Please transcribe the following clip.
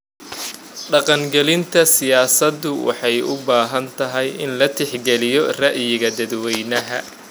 Dhaqangelinta siyaasaddu waxay u baahan tahay in la tixgeliyo ra'yiga dadweynaha.